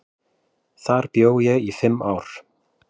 Þar bjó ég í fimm ár.